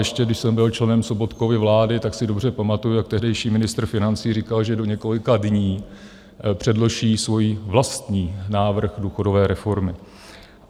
Ještě když jsem byl členem Sobotkovy vlády, tak si dobře pamatuji, jak tehdejší ministr financí říkal, že do několika dní předloží svůj vlastní návrh důchodové reformy.